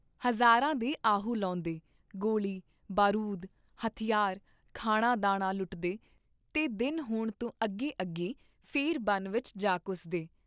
ਹਜ਼ਾਰਾਂ ਦੇ ਆਹੂ ਲਾਹੁੰਦੇ , ਗੋਲੀ, ਬਾਰੂਦ, ਹਥਿਆਰ, ਖਾਣਾ ਦਾਣਾ ਲੁੱਟਦੇ ਤੇ ਦਿਨ ਹੋਣ ਤੋਂ ਅੱਗੇ ਅੱਗੇ ਫੇਰ ਵਣ ਵਿਚ ਜਾ ਘੁਸਦੇ ।